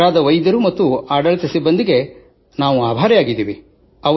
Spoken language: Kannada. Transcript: ಆಗ್ರಾದ ವೈದ್ಯರು ಆಡಳಿತ ಸಿಬ್ಬಂದಿಗೆ ನಾವು ಆಭಾರಿಯಾಗಿದ್ದೇವೆ